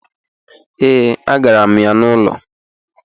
Ee, agara m ya n'ụlọ